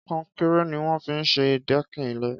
Kọ̀nkéré niwọn fi n ṣé dẹ̀kín ilé